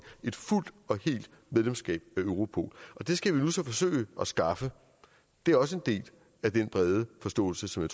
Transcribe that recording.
et fuldt og helt medlemskab af europol og det skal vi så nu forsøge at skaffe det er også en del af den brede forståelse som